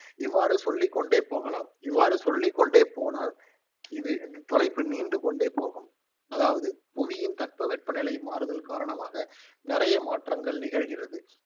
இவ்வாறு சொல்லிக்கொண்டே போகலாம், இவ்வாறு சொல்லிக்கொண்டே போனால் இது தலைப்பு நீண்டு கொண்டே போகும், அதாவது புவியின் தட்ப வெப்ப நிலை மாறுதல் காரணமாக நிறைய மாற்றங்கள் நிகழ்கிறது